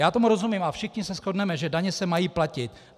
Já tomu rozumím a všichni se shodneme, že daně se mají platit.